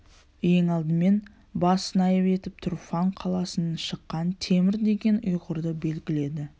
ең алдымен бас наип етіп тұрфан қаласынан шыққан темір деген ұйғырды белгіледі